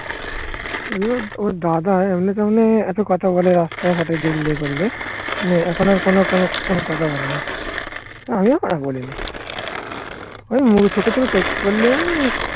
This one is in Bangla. ওর দাদা এমনি তেমনি এত কথা বলে রাস্তা ঘাটে দেখলে বলে. মানে এখন আর কোন কোন কথা বলে না. আমিও কথা বলিনি. ওই চোখে চোখে চোখ পড়লে